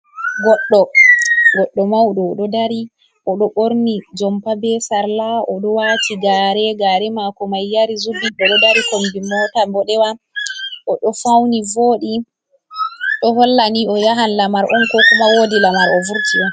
Goɗɗo, goɗɗo mauɗo oɗo dari o ɗo ɓorni jompa be sarla, o ɗo wati gare, gare mako mai yari zubi ɓeɗo dari kombi mota boɗewa oɗo fauni voɗi ɗo hollani o yahan lamar on ko kuma wodi lamar o vurti on.